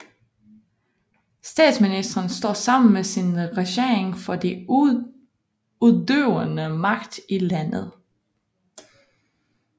Statsministeren står sammen med sin regering for den udøvende magt i landet